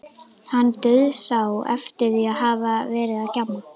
Hann dauðsá eftir að hafa verið að gjamma.